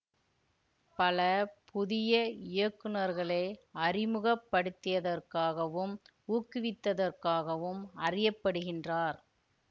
பல புதிய இயக்குநர்களை அறிமுகப்படுத்தியதற்காகவும் ஊக்குவித்ததற்காகவும் அறிய படுகின்றார்